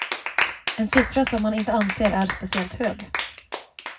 En siffra som han inte anser är speciellt hög.